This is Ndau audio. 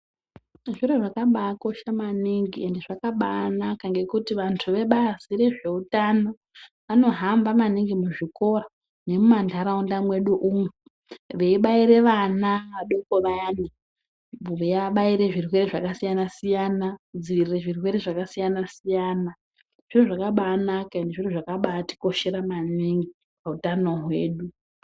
Zviro zvakabaakosha maningi endi zvakabaanaka ngekuti vantu vebazi rezveutano vanohamba maningi muzvikora nemumantaraunda mwedu umu, veibaire vana vadoko vayani. Veiabaire zvirwere zvakasiyana-siyana kudzivirire zvirwere zvakasiyana-siyana. Zviro zvakabaanaka endi zviro zvakabaatikoshera maningi pautano hwedu.